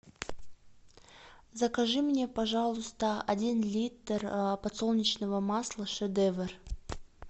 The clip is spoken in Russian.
закажи мне пожалуйста один литр подсолнечного масла шедевр